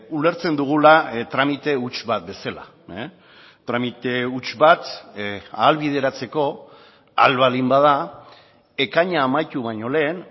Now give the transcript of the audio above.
ulertzen dugula tramite huts bat bezala tramite huts bat ahalbideratzeko ahal baldin bada ekaina amaitu baino lehen